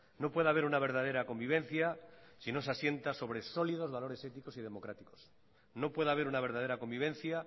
no puede haber una verdadera convivencia si no se asienta sobre sólidos valores éticos y democráticos no puede haber una verdadera convivencia